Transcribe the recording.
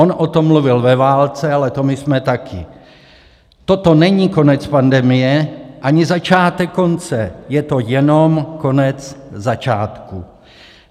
On o tom mluvil ve válce, ale to my jsme také: Toto není konec pandemie ani začátek konce, je to jenom konec začátku.